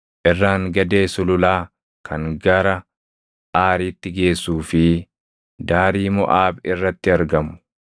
irraan-gadee sululaa kan gara Aaritti geessuu fi daarii Moʼaab irratti argamu.”